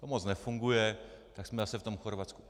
To moc nefunguje, tak jsme zase v tom Chorvatsku.